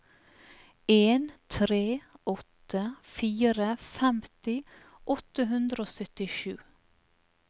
en tre åtte fire femti åtte hundre og syttisju